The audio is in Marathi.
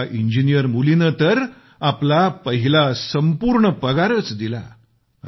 एका इंजीनीयर मुलीने तर आपला पहिला संपूर्ण पगारच दिला